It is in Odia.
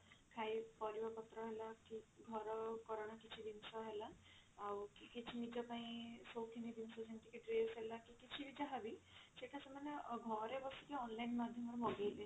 ଖାଇ ପରିବାପତ୍ର ହେଲା କି ଘର କରଣ କିଛି ଜିନିଷ ହେଲା ଆଉ କି କିଛି ନିଜ ପାଇଁ ସଉଖିନୀ ଜିନିଷ ଯେମତି କି dress ହେଲା କି କିଛି ବି ଯାହା ବି ସେଟା ସେମାନେ ଅ ଘରେ ବସିକି online ମାଧ୍ୟମ ରେ ମଗେଇବେ